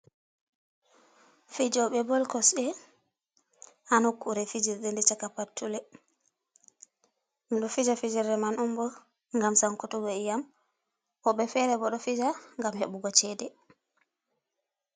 Fijobe ball kosde ha nokkure fijirde nde chaka pattule. Dum do fija fijirde man onbo, ngam sankutuggo iyam, Wobbe fere bo do fija; ngam hebugo chede.